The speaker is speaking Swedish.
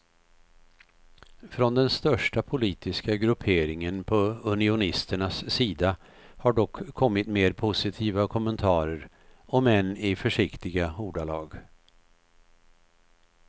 Från den största politiska grupperingen på unionisternas sida har dock kommit mer positiva kommentarer, om än i försiktiga ordalag.